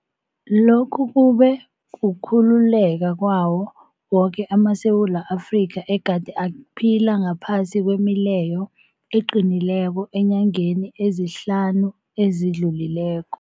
Lokhu kube kukhululeka kwawo woke amaSewula Afrika egade aphila ngaphasi kwemileyo eqinileko eenyangeni ezihlanu ezidlulileko.